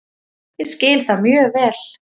Ég skil það mjög vel